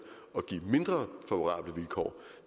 at og vi går